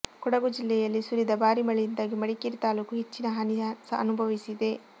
ಕೊಡಗು ಜಿಲ್ಲೆಯಲ್ಲಿ ಸುರಿದ ಭಾರಿ ಮಳೆಯಿಂದಾಗಿ ಮಡಿಕೇರಿ ತಾಲೂಕು ಹೆಚ್ಚಿನ ಹಾನಿ ಅನುಭವಿಸಿದೆ